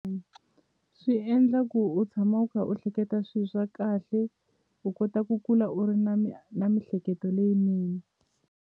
Swi endla ku u tshama u kha u hleketa swi swa kahle u kota ku kula u ri na na mihleketo leyinene.